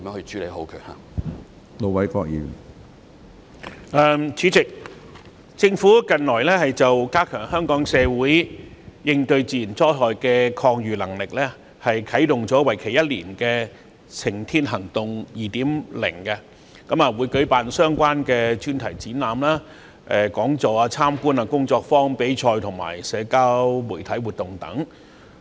主席，政府近來為加強香港社會應對自然災害的抗禦能力，啟動了為期一年的"晴天行動 2.0"， 並會舉辦相關的專題展覽、講座、參觀、工作坊、比賽和社交媒體活動等。